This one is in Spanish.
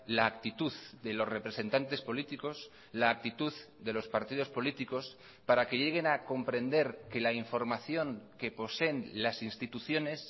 la actitud de los representantes políticos la actitud de los partidos políticos para que lleguen a comprender que la información que poseen las instituciones